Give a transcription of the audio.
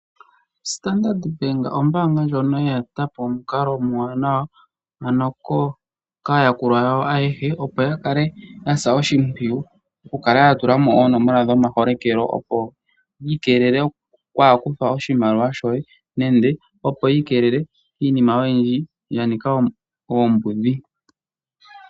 Standard Bank ombaanga ndjoka ye eta po omukalo omwaanawa ano kaayakulwa yawo ayehe opo ya kale ya sa oshimpwiyu okukala ya tula mo oonomola dhomaholekelo opo yi ikeelele okwaa kuthwa oshimaliwa shoye nande opo yi keelele kiinima oyindji ya nika oombudhi.